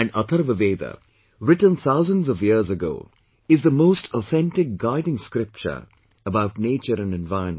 And, Atharva Veda, written thousands of years ago, is the most authentic guiding scripture about nature and environment